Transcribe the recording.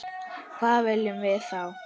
Hvað viljum við þá?